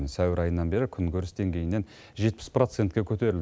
сәуір айынан бері күнкөріс деңгейінен жетпіс процентке көтерілді